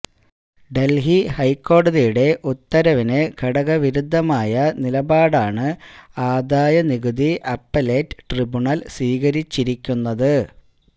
ഡല്ഹി ഹൈക്കോടതിയുടെ ഉത്തരവിന് കടകവിരുദ്ധമായ നിലപാടാണ് ആദായനികുതി അപ്പലേറ്റ് ട്രിബ്യൂണല് സ്വീകരിച്ചിരിക്കുന്നത്